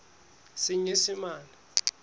senyesemane